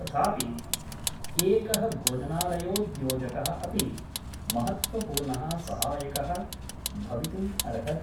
तथापि एकः भोजनालयोद्योजकः अपि महत्त्वपूर्ण: सहायकः भवितुम् अर्हति।